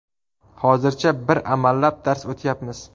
Hozircha bir amallab dars o‘tyapmiz.